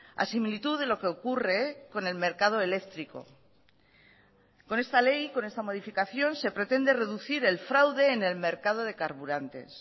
a similitud de lo que ocurre con el mercado eléctrico con esta ley con esta modificación se pretende reducir el fraude en el mercado de carburantes